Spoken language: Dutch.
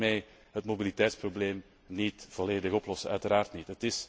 We gaan hiermee het mobiliteitsprobleem niet volledig oplossen, uiteraard niet.